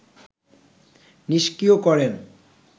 নিস্ক্রিয় করেন